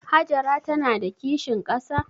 Hajara ta na da kishin ƙasa?